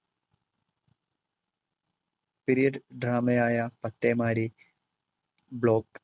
billiard drama യായ പത്തേമാരി